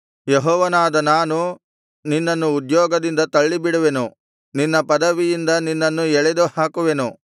ಯೆಹೋವನಾದ ನಾನು ನಿನ್ನನ್ನು ಉದ್ಯೋಗದಿಂದ ತಳ್ಳಿಬಿಡುವೆನು ನಿನ್ನ ಪದವಿಯಿಂದ ನಿನ್ನನ್ನು ಎಳೆದು ಹಾಕುವೆನು